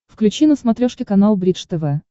включи на смотрешке канал бридж тв